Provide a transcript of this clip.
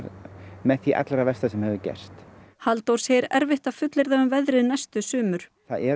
með því allra versta sem hefur gerst Halldór segir erfitt að fullyrða um veðrið næstu sumur það er